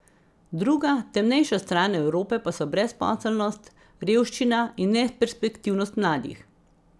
Druga, temnejša stran Evrope pa so brezposelnost, revščina in neperspektivnost mladih.